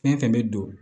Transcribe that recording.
Fɛn fɛn bɛ don